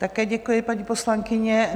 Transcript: Také děkuji, paní poslankyně.